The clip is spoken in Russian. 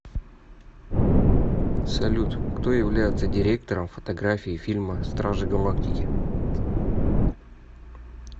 салют кто является директором фотографии фильма стражи галактики